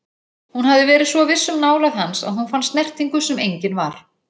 Hún hafði verið svo viss um nálægð hans að hún fann snertingu sem engin var.